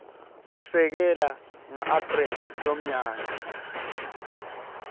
kusekela ngaapreli lomnyaka